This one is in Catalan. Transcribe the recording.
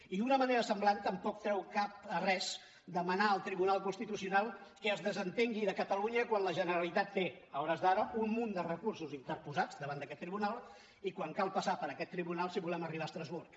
i d’una manera semblant tampoc treu cap a res demanar al tribunal constitucional que es desentengui de catalunya quan la generalitat té a hores d’ara un munt de recursos interposats davant d’aquest tribunal i quan cal passar per aquest tribunal si volem arribar a estrasburg